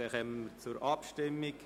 Dann kommen wir zur Abstimmung.